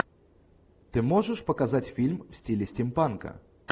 ты можешь показать фильм в стиле стимпанка